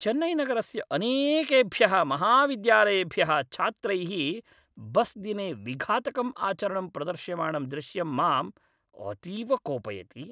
चेन्नैनगरस्य अनेकेभ्यः महाविद्यालयेभ्यः छात्रैः बस्दिने विघातकम् आचरणं प्रदर्श्यमाणं दृश्यं माम् अतीव कोपयति।